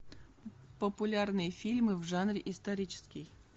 популярные фильмы в жанре исторический